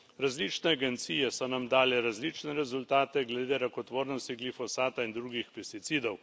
Različne agencije so nam dale različne rezultate glede rakotvornosti glifosata in drugih pesticidov.